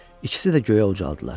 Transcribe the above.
ikisi də göyə ucaldılar.